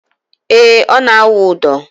Ee, ọ na - awụ ụdọ